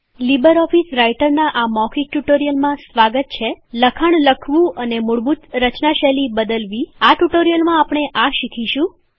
LibreOffice રાઈટરનાં આ મૌખિક ટ્યુટોરીયલમાં સ્વાગત છે લખાણ લખવું અને મૂળભૂત રચના શૈલી બદલવી આ ટ્યુટોરીયલમાં આપણે આ શીખીશું